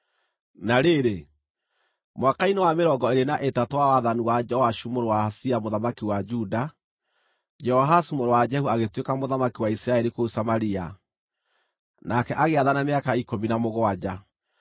Na rĩrĩ, mwaka-inĩ wa mĩrongo ĩĩrĩ na ĩtatũ wa wathani wa Joashu mũrũ wa Ahazia mũthamaki wa Juda, Jehoahazu mũrũ wa Jehu agĩtuĩka mũthamaki wa Isiraeli kũu Samaria, nake agĩathana mĩaka ikũmi na mũgwanja.